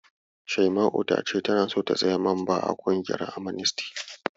Shaima'u ta ce tana so ta zama mamba a ƙungiyar Amnesty.